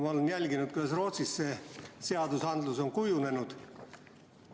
Ma olen jälginud, kuidas Rootsis see seadus on kujunenud.